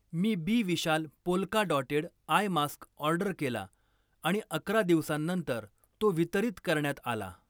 मी बी विशाल polka dotted eye mask order केला आणि अकरा दिवसांनंतर तो वितरित करण्यात आला.